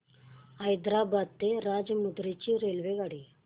हैदराबाद ते राजमुंद्री ची रेल्वेगाडी